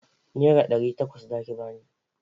Nera ɗari takwas za ki ba ni!